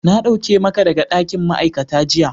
Na dauke maka daga dakin ma'aikata jiya.